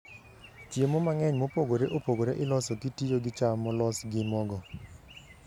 Chiemo mang'eny mopogore opogore iloso kitiyo gi cham molos gi mogo.